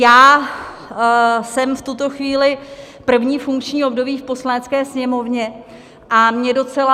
Já jsem v tuto chvíli první funkční období v Poslanecké sněmovně a mě docela...